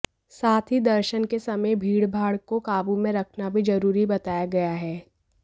साथ ही दर्शन के समय भीड़भाड़ को काबू में रखना भी जरूरी बताया गया है